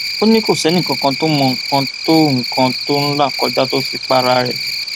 ó ní kò sẹnìkànkàn tó mọ nǹkan tó nǹkan tó ń là kọjá tó fi para rẹ